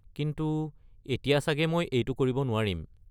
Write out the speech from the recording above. কিন্তু এতিয়া চাগে মই এইটো কৰিব নোৱাৰিম।